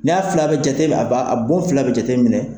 N y'a fila bɛ jate min a ban a bon fila bɛ jate minɛ